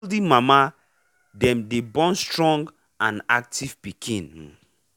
healthy mama dem day born strong and active piken um